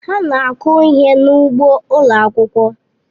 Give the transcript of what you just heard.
Ha na-akụ ihe n'ugbo ụlọ akwụkwọ.